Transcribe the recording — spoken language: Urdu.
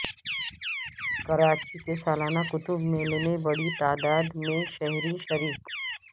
کراچی کے سالانہ کتب میلے میں بڑی تعداد میں شہری شریک